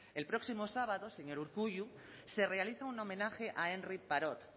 el próximo sábado señor urkullu se realiza un homenaje a henri parot